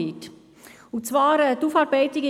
– Sie dürfen dies selbstverständlich tun.